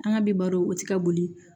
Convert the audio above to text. An ka bi baro o ti ka boli